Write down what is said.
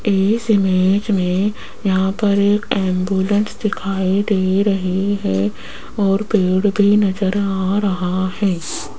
इस इमेज में यहां पर एक एंबुलेंस दिखाई दे रही है और पेड़ भी नजर आ रहा है।